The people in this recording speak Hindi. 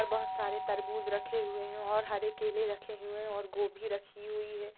बहुत सारे तरबूज रखे हुए हैं और हर केले रखे हुए हैं और गोभी रखी हुई है।